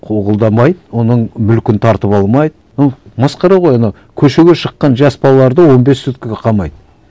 қуғындамайды оның мүлкін тартып алмайды масқара ғой анау көшеге шыққан жас балаларды он бес суткіге қамайды